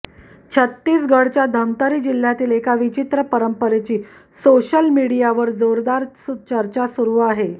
छत्तीसगढच्या धमतरी जिल्ह्यातील एका विचित्र परंपरेची सोशल मीडियावर जोरदार चर्चा सुरू आहे